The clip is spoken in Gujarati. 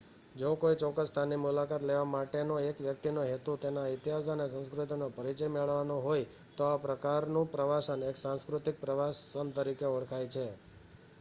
જો કોઈ ચોક્કસ સ્થાનની મુલાકાત લેવા માટેનો એક વ્યક્તિનો હેતુ તેના ઈતિહાસ અને સંસ્કૃતિનો પરીચય મેળવવાનો હોય તો આ પ્રકારનું પ્રવાસન એક સાંસ્કૃતિક પ્રવાસન તરીકે ઓળખાય છે